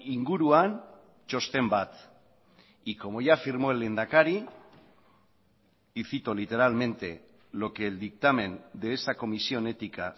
inguruan txosten bat y como ya afirmó el lehendakari y cito literalmente lo que el dictamen de esa comisión ética